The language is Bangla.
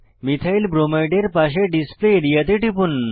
মিথাইল ব্রোমাইডের পাশে ডিসপ্লে আরিয়া তে টিপুন